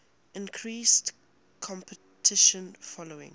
increased competition following